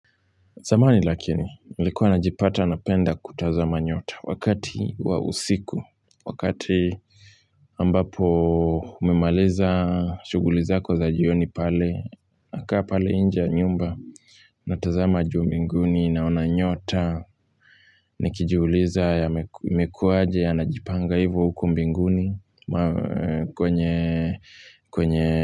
Zamani lakini, nilikuwa najipata napenda kutazama nyota wakati wa usiku, wakati ambapo umemaliza, shuguli zako za jioni pale, nakaa pale nje ya nyumba, natazama juu mbinguni naona nyota, nikijiuliza imekuaje yanajipanga hivo huko mbinguni kwenye, kwenye,